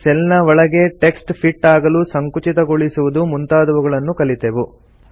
cell ನ ಒಳಗೆ text fit ಆಗಲು ಸಂಕುಚಿತಗೊಳಿಸುವುದು ಮುಂತಾದವುಗಳನ್ನು ಕಲಿತೆವು